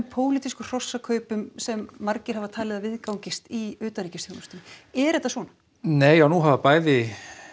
pólitískum hrossakaupum sem margir hafa talið að viðgangist í utanríkisþjónustunni er þetta svona nei og nú hafa bæði